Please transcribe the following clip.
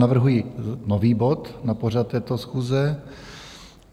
Navrhuju nový bod na pořad této schůze.